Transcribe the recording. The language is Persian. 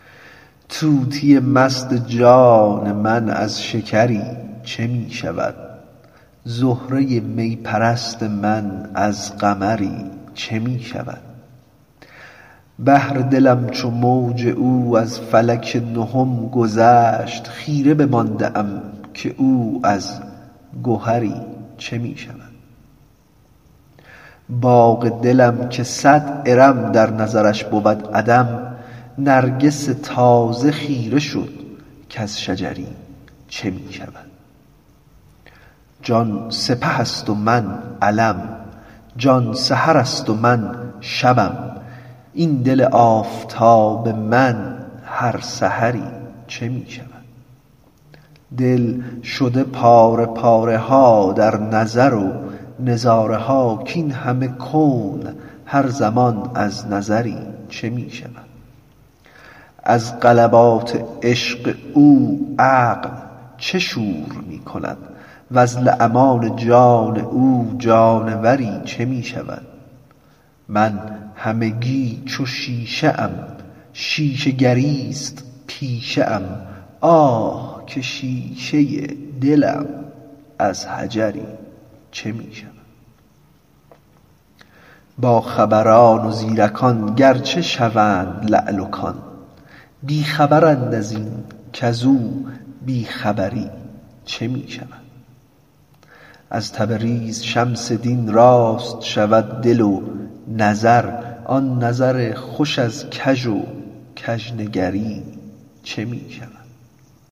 طوطی جان مست من از شکری چه می شود زهره می پرست من از قمری چه می شود بحر دلم که موج او از فلک نهم گذشت خیره بمانده ام که او از گهری چه می شود باغ دلم که صد ارم در نظرش بود عدم نرگس تازه خیره شد کز شجری چه می شود جان سپه ست و من علم جان سحر ست و من شبم این دل آفتاب من هر سحری چه می شود دل شده پاره پاره ها در نظر و نظاره ها کاین همه کون هر زمان از نظری چه می شود از غلبات عشق او عقل چه شور می کند وز لمعان جان او جانوری چه می شود من همگی چو شیشه ام شیشه گری ست پیشه ام آه که شیشه دلم از حجری چه می شود باخبران و زیرکان گرچه شوند لعل کان بی خبرند از این کز او بی خبری چه می شود از تبریز شمس دین راست شود دل و نظر آن نظر خوش از کژ و کژنگری چه می شود